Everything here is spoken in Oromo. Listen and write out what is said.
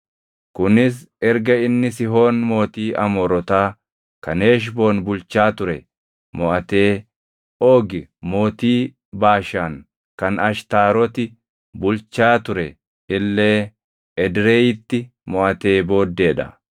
Kunis erga inni Sihoon mootii Amoorotaa kan Heshboon bulchaa ture moʼatee Oogi mootii Baashaan kan Ashtaaroti bulchaa ture illee Edreyiitti moʼatee booddee dha.